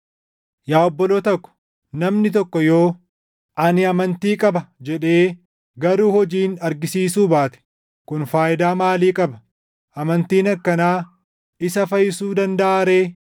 Yaa obboloota ko, namni tokko yoo, “Ani amantii qaba” jedhee garuu hojiin argisiisuu baate, kun faayidaa maalii qaba? Amantiin akkanaa isa fayyisuu dandaʼaa ree?